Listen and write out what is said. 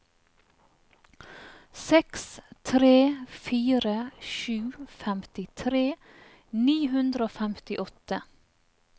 seks tre fire sju femtitre ni hundre og femtiåtte